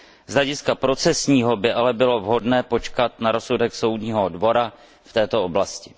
Z hlediska procesního by ale bylo vhodné počkat na rozsudek Soudního dvora v této oblasti.